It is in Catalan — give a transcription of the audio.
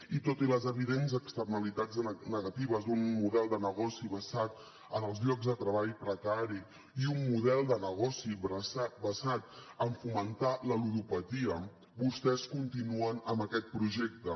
i tot i les evidents externalitats negatives d’un model de negoci basat en els llocs de treball precari i un model de negoci basat en fomentar la ludopatia vostès continuen amb aquest projecte